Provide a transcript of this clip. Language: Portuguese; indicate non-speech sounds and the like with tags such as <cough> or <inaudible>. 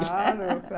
<laughs> Claro, <unintelligible>